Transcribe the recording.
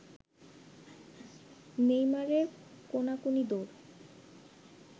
নেইমারের কোনাকুনি দৌড়